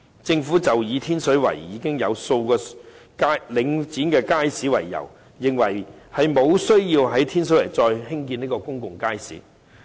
政府以天水圍已經有數個領展街市為由，認為沒有需要再在天水圍興建公眾街市。